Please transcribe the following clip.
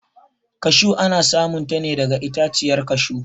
kashu ana samun ta ne daga itaciyar kashu